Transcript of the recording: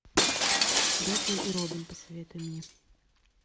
бэтмен и робин посоветуй мне